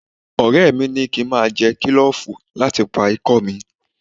Ọ̀rẹ́ mi ni kí n máa jẹ kílòfù láti pa ikọ́ mi